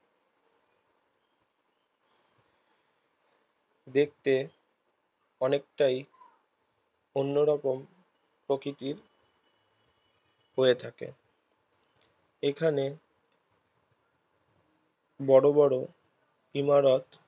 দেখতে অনেকটাই অন্য রকম প্রকৃতির হয়ে থাকে এখানে বড়ো বড়ো কিলার